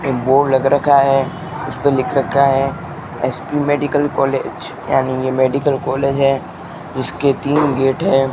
ये बोर्ड लग रखा है उस पे लिख रखा है एस_पी मेडिकल कॉलेज यानी ये मेडिकल कॉलेज है उसके तीन गेट हैं।